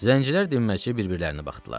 Zəncilər dinməycə bir-birlərinə baxdılar.